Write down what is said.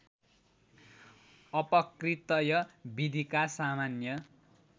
अपकृतय विधिका सामान्य